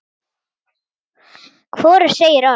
Hvorug segir orð.